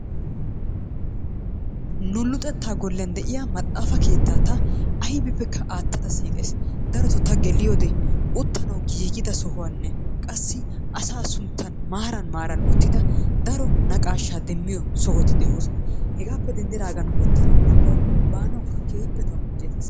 Nu luxeettaa goliyan de'iyaa maxxaafa keettaa ta aybippekka aattada siiqays. Darotoobta geliyode uttanawu giigida sohuwaanne qassi asaa sunttan maaran uttida daro naqaashaa demiyoo sohoti de'oosona. Heegaappe dendidaagan uttanawu woikko baanawukka keehiippe tawu injjettiis.